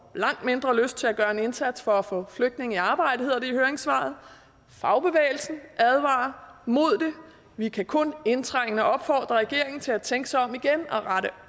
langt mindre lyst til at gøre en indsats for at få flygtninge i arbejde hedder det i høringssvaret fagbevægelsen advarer mod det vi kan kun indtrængende opfordre regeringen til at tænke sig om igen og rette